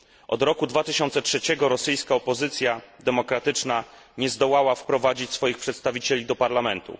Od roku 2003 rosyjska opozycja demokratyczna nie zdołała wprowadzić swoich przedstawicieli do parlamentu.